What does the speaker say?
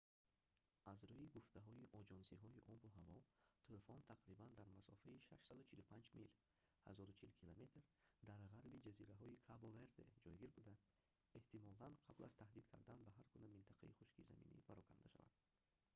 аз рӯи гуфтаҳои оҷонсиҳои обу ҳаво тӯфон тақрибан дар масофаи 645 мил 1040 км дар ғарби ҷазираҳои кабо-верде ҷойгир буда эҳтимолан қабл аз таҳдид кардан ба ҳар гуна минтақаи хушки заминӣ пароканда шавад,